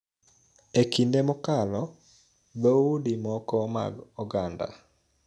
E kinde mokalo, dhoudi moko mag oganda�